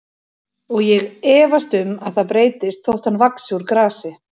Og ég efast um að það breytist þótt hann vaxi úr grasi.